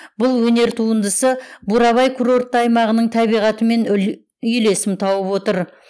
бұл өнер туындысы бурабай курортты аймағының табиғатымен үйлесім тауып отыр